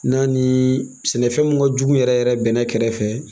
N'a ni sɛnɛfɛn mun ka jugu yɛrɛ yɛrɛ bɛnɛ kɛrɛ fɛ